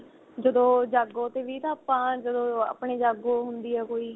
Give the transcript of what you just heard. ਜਦੋੰ ਜਾਗੋ ਤੇ ਵੀ ਤਾਂ ਆਪਾਂ ਜਦੋੰ ਆਪਣੀ ਜਾਗੋ ਹੁੰਦੀ ਏ ਕੋਈ